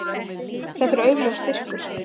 Þetta er augljós styrkur.